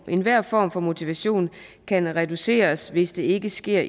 enhver form for motivation kan reduceres hvis det ikke sker